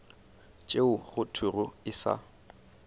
tšeo go thwego e sa